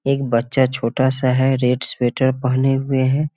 एक बच्चा छोटा सा है रेड स्वेटर पहने हुए हैं।